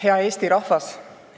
Hea Eesti rahvas!